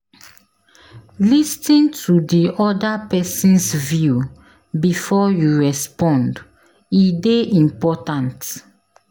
Lis ten to the other person’s view before you respond; e dey important.